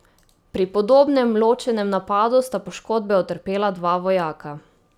Pri podobnem ločenem napadu sta poškodbe utrpela dva vojaka.